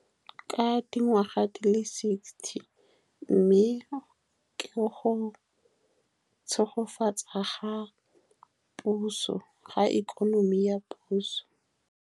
Ka dingwaga di le sixty, mme ke go tshegofatsa ga puso, ga ikonomi ya puso.